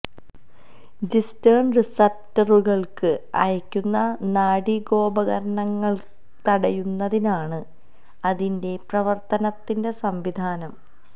ജിസ്റ്റേൻ റിസപ്റ്ററുകൾക്ക് അയക്കുന്ന നാഡീകോപകരണങ്ങൾ തടയുന്നതിനാണ് അതിന്റെ പ്രവർത്തനത്തിന്റെ സംവിധാനം